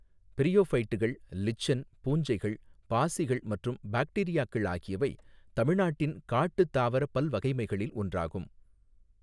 பிரையோஃபைட்டுகள், lichen, பூஞ்சைகள், பாசிகள் மற்றும் பாக்டீரியாக்கள் ஆகியவை தமிழ்நாட்டின் காட்டுத் தாவரப் பல்வகைமைகளில் ஒன்றாகும்.